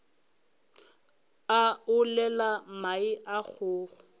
a olela mae a kgogo